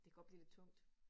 Det godt blive lidt tungt